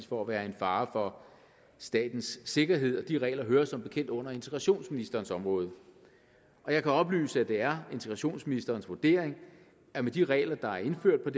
for at være en fare for statens sikkerhed de her regler hører som bekendt under integrationsministerens område og jeg kan oplyse at det er integrationsministerens vurdering at med de regler der er indført